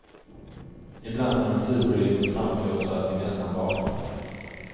Ibland når ljudvolymen fram till oss så att vi nästan vaknar.